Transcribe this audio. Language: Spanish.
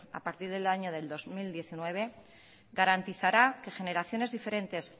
a partir del año del dos mil diecinueve garantizará que generaciones diferentes